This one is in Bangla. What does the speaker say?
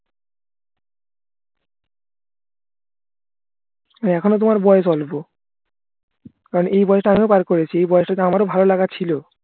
এখনও তোমার বয়স অল্প কারণ এই বয়সটা আমিও পার করেছি এই বয়সটাতে আমার ও ভালো লাগা ছিল